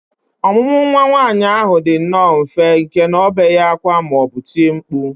Ọmụmụ nwa nwaanyị ahụ dị nnọọ mfe nke na ọ na obeghị ákwá ma ọ bụ tie mkpu